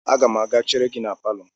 Aga m a ga-chere gi na palọ.